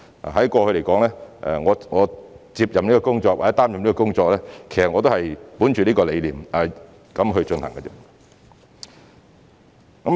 我過去接任或擔任局長的工作，其實也是本着此理念去做的。